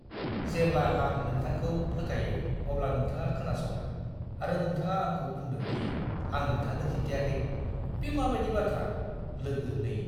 जेब्ला आं नोंथांखौ फोथायो अब्ला नोंथाङा खोनासङा आरो नोंथाङा आंखौ बुंदों दि आं नोंथांनो खिन्थायाखै। बे माबायदि बाथ्रा! (लोगो 2)